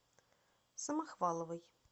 самохваловой